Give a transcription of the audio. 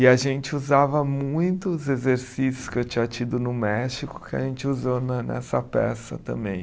E a gente usava muitos exercícios que eu tinha tido no México que a gente usou na nessa peça também.